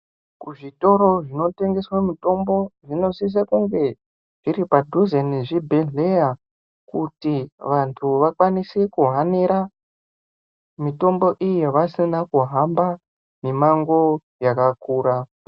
Kuzvitoro zvinotengeswa mutombo zvinosisa kunge zviri padhuze nezvibhedhleya. Kuti vantu vakwanise kuhanira mitombo iyi vasina kuhamba mimango yakakura.